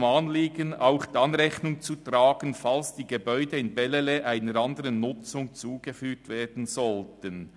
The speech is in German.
] diesem Anliegen auch dann Rechnung zu tragen, falls die Gebäude in Bellelay einer neuen Nutzung zugeführt werden sollten.